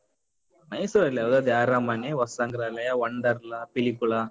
ಮೈಸೂರಲ್ಲಿ ಯಾವ್ದು ಅದೇ ಅರಮನೆ, ವಸ್ತುಸಂಗ್ರಹಾಲಯ, Wonderla , ಪಿಲಿಕುಳ.